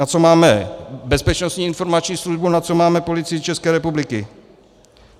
Na co máme Bezpečnostní informační službu, na co máme Policii České republiky?